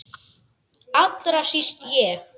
Allra síst ég!